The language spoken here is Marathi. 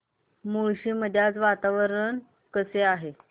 मुळशी मध्ये आज वातावरण कसे आहे